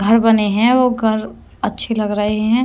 घर बने हैं वो घर अच्छे लग रहे हैं।